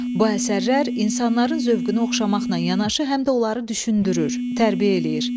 Bu əsərlər insanların zövqünə oxşamaqla yanaşı həm də onları düşündürür, tərbiyə eləyir.